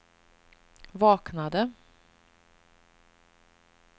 vaknade